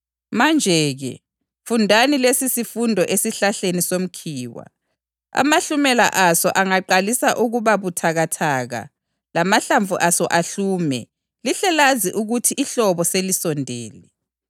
Manje-ke, fundani lesisifundo esihlahleni somkhiwa: Amahlumela aso angaqalisa ukuba buthakathaka lamahlamvu aso ahlume, lihle lazi ukuthi ihlobo selisondele.